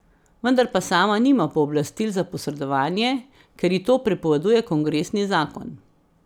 Vendar pa sama nima pooblastil za posredovanje, ker ji to prepoveduje kongresni zakon.